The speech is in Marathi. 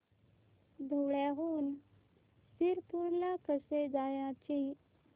धुळ्याहून शिरपूर ला कसे जायचे